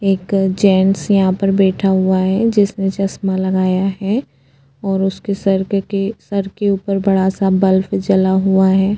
एक जेन्ट्स यहां पर बैठा हुआ है जिसने चश्मा लगाया है और उसके सर्क के सर के ऊपर बड़ा सा बल्ब जला हुआ है।